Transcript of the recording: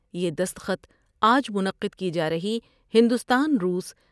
یہ دستخط آج منعقد کی جارہی ہندوستان روس ۔